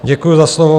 Děkuji za slovo.